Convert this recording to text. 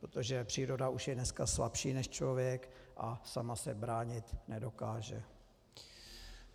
Protože příroda už je dneska slabší než člověk a sama se bránit nedokáže.